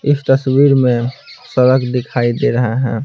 इस तस्वीर में सड़क दिखाई दे रहा है ।